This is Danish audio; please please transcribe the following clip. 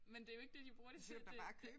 Men det jo ikke det de bruger det til det